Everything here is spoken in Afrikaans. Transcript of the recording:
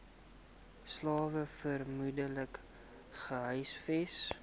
slawe vermoedelik gehuisves